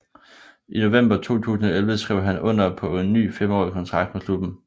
I november 2011 skrev han under på en ny femårig kontrakt med klubben